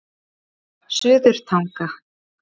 Suðurtanga